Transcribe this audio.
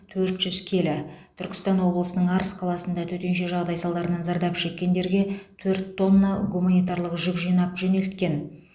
төрт жүз келі түркістан облысының арыс қаласында төтенше жағдай салдарынан зардап шеккендерге төрт тонна гуманитарлық жүк жинап жөнелткен